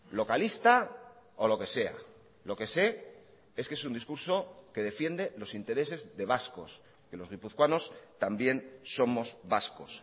localista o lo que sea lo que sé es que es un discurso que defiende los intereses de vascos que los guipuzcoanos también somos vascos